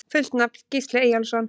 Fullt nafn: Gísli Eyjólfsson